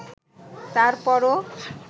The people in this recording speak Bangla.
তারপরও